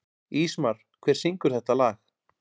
Ísmar, hver syngur þetta lag?